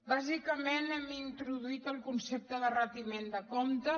bàsicament hem introduït el concepte de retiment de comptes